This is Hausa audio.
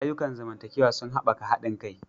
Ayyukan zamantakewa sun haɓaka haɗin kai.